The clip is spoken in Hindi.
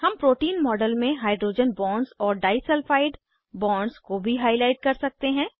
हम प्रोटीन मॉडल में हाइड्रोजन बॉन्ड्स और डाई सल्फाइड बॉन्ड्स को भी हाईलाइट कर सकते हैं